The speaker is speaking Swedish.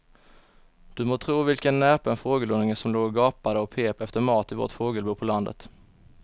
Du må tro vilken näpen fågelunge som låg och gapade och pep efter mat i vårt fågelbo på landet.